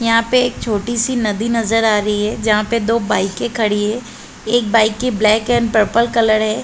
यहाँ पे एक छोटी सी नदी नज़र आ रही है जहाँ पे दो बाइके खड़ी है। एक बाइक के ब्लैक एंड पर्पल कलर है।